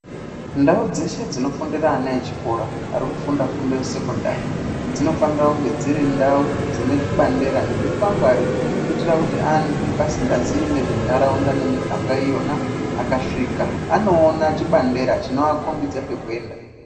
Ndau dzeshe dzinofundira ana echikora arikufunda fundo yesekondari dzinofanira kunge dziri ndau dzine zvibandera nezvikwangwari kuitira kuti antu asingazii nezvenharaunda nemiganga iyona anoona chibandera chinoakhombidza kwekwenda.